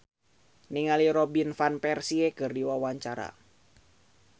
Yayan Ruhlan olohok ningali Robin Van Persie keur diwawancara